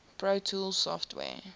pro tools software